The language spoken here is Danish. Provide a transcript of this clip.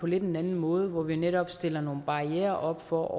lidt anden måde hvor vi netop stiller nogle barrierer op for at